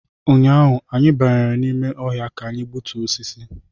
Ụnyaahụ, anyị banyere n’ime ọhịa ka anyị gbutuo osisi